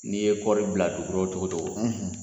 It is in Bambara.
N'i ye kɔri bila dugu kɔrɔ cogo cogo